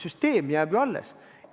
Süsteem jääb ju alles.